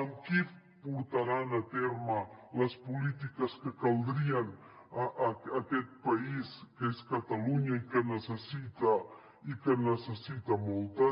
amb qui portaran a terme les polítiques que caldrien en aquest país que és catalunya i que en necessita moltes